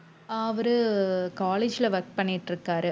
அஹ் அவரு college ல work பண்ணிட்டு இருக்காரு